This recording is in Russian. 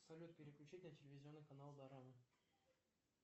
салют переключить на телевизионный канал дорама